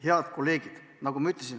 Head kolleegid!